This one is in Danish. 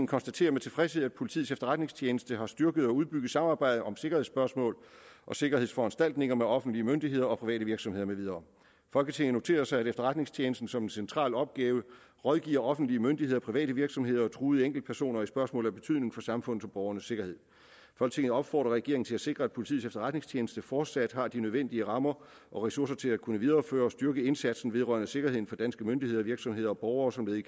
konstaterer med tilfredshed at politiets efterretningstjeneste har styrket og udbygget samarbejdet om sikkerhedsspørgsmål og sikkerhedsforanstaltninger med offentlige myndigheder og private virksomheder med videre folketinget noterer sig at efterretningstjenesten som en central opgave rådgiver offentlige myndigheder private virksomheder og truede enkeltpersoner i spørgsmål af betydning for samfundets og borgernes sikkerhed folketinget opfordrer regeringen til at sikre at politiets efterretningstjeneste fortsat har de nødvendige rammer og ressourcer til at kunne videreføre og styrke indsatsen vedrørende sikkerheden for danske myndigheder virksomheder og borgere som led i